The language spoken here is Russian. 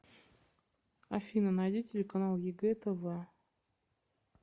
афина найди телеканал егэ тв